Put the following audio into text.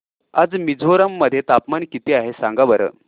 आज मिझोरम मध्ये तापमान किती आहे सांगा बरं